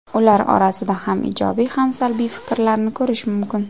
Ular orasida ham ijobiy, ham salbiy fikrlarni ko‘rish mumkin.